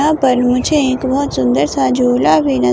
यहां पर मुझे एक बहोत सुंदर सा झूला भी नजर--